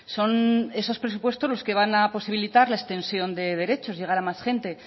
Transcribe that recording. son esos presupuestos los que van a posibilitar la extensión de derechos llegar a más gente